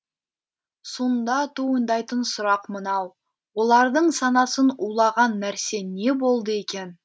сонда туындайтын сұрақ мынау олардың санасын улаған нәрсе не болды екен